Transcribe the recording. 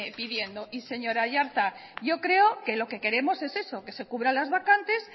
pidiendo y señor aiartza yo creo que lo que queremos es eso que se cubran las vacantes